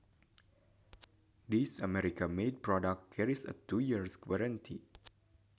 This American made product carries a two year warranty